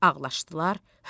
Halallaşdılar,